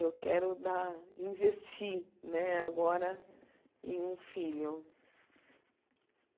Eu quero dar investir né agora em um filho.